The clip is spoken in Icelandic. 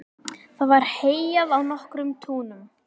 Það var heyjað á nokkrum túnum.